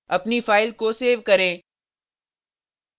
अपनी फाइल को सेव करें